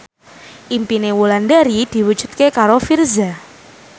impine Wulandari diwujudke karo Virzha